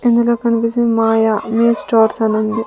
ఇందులో కనిపిచింది మాయ మీ స్టోర్స్ అనుంది.